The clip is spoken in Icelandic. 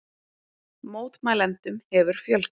Mótmælendum hefur fjölgað